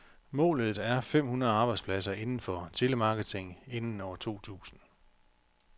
Målet er fem hundrede arbejdspladser inden for telemarketing inden år to tusind.